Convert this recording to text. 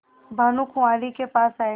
भानुकुँवरि के पास आये